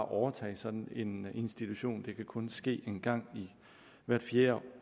overtage sådan en institution det kan kun ske hvert fjerde